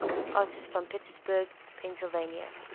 artists from pittsburgh pennsylvania